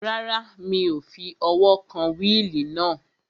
Rárá, mi ò fi ọwọ́ kan wíìlì náà